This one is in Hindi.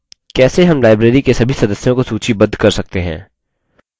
कैसे how library के सभी सदस्यों को सूचीबद्ध कर सकते हैं